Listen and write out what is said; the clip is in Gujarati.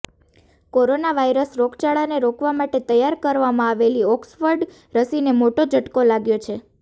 કોરોના વાયરસ રોગચાળાને રોકવા માટે તૈયાર કરવામાં આવેલી ઓક્સફર્ડ રસીને મોટો ઝટકો લાગ્યો છે